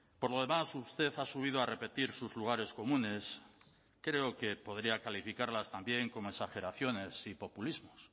por lo demás usted ha subido a repetir sus lugares comunes creo que podría calificarlas también como exageraciones y populismos